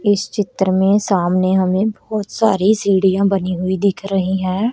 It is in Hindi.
इस चित्र में सामने हमें बहोत सारी सीढ़ियां बनी हुई दिख रही है।